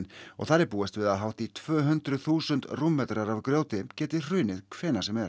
og þar er búist við að hátt í tvö hundruð þúsund rúmmetrar af grjóti geti hrunið hvenær sem er